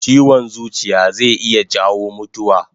Chiwon zuciya zai iya jawo mutuwa